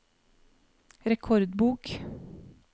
rekordbok